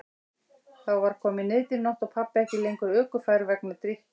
Þá var komin niðdimm nótt og pabbi ekki lengur ökufær vegna drykkju.